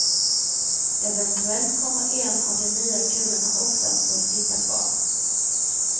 Eventuellt kommer en av de nya kulorna också att få sitta kvar.